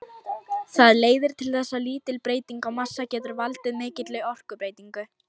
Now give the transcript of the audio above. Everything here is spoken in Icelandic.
Það leiðir til þess að lítil breyting á massa getur valdið mikilli orkubreytingu.